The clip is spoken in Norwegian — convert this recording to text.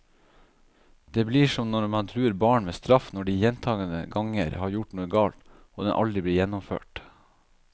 Det blir som når man truer barn med straff når de gjentagende ganger har gjort noe galt, og den aldri blir gjennomført.